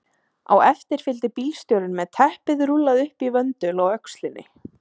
Á eftir fylgdi bílstjórinn með teppið rúllað upp í vöndul á öxlinni.